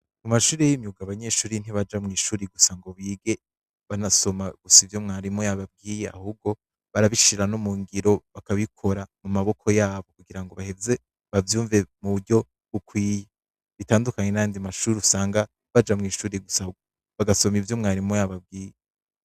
Mu mashuri y’imyuga, abanyeshure ntibaja mu mashure gusa ngo bige banasoma gusa ivyo mwarimu yababwiye. Ahubwo, barabishira no mu ngiro, bakabikora mu maboko yabo. Kugira ngo baheze bavyumve mu buryo bukwiye. Bitandukanye n'ayandi mashure usanga Baja Mw’ishuri gusa basoma ivyo mwarimu yababwiye.